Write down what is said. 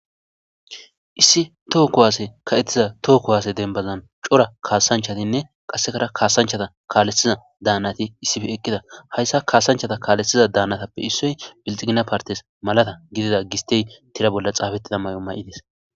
issi toho ko waase ka7ettiza tookkowaase denbazan cora kaasanchatinne qassekara kaasanchata kaaleiza daanati issife eqqida hayssa kaasanchata kaalessiza daanatappe issoy bilxigina partes malata gidida gistey tira bolla xaabettida may7o may7ides